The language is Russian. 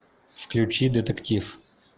включи детектив